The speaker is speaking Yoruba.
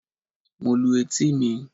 Mo lu etí mi.